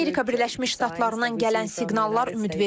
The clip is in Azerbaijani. Amerika Birləşmiş Ştatlarından gələn siqnallar ümidvericidir.